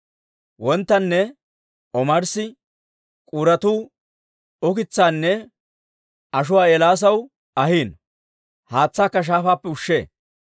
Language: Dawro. Wonttanne omarssi k'uuratuu ukitsaanne ashuwaa Eelaasaw ahiino; haatsaakka shaafaappe ushee.